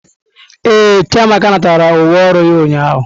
Ee, Chiamaka natara uwe ọrụ ya ụnyahụ.